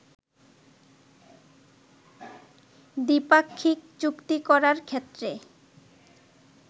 দ্বিপাক্ষিক চুক্তি করার ক্ষেত্রে